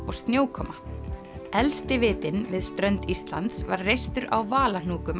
og snjókoma elsti vitinn við strönd Íslands var reistur á